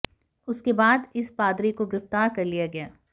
उसके बाद उस पादरी को गिरफ्तार कर लिया गया